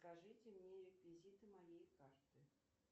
скажите мне реквизиты моей карты